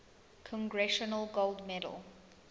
congressional gold medal